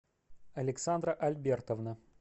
александра альбертовна